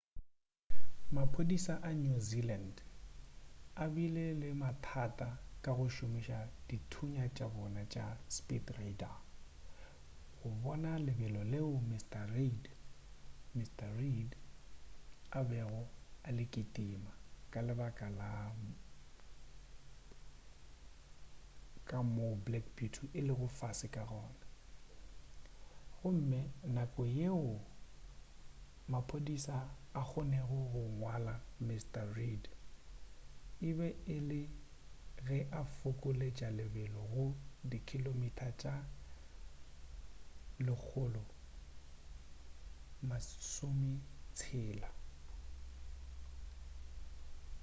maphodisa a new zealand a bile le mathata ka go šomiša dithunya tša bona tša di speed radar go bona lebelo leo mrn reid a bego a le ketims ka lebaka la ka moo black beauty e lego fase ka gona gomme nako fela yeo maphodisa a kgonnego go ngwala mrn reid e be e le ge a fokoletša lebelo go 160km/h